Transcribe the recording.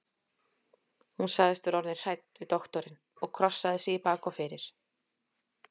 Hún sagðist vera orðin hrædd við doktorinn og krossaði sig í bak og fyrir.